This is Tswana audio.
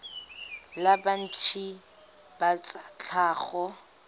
la banetetshi ba tsa tlhago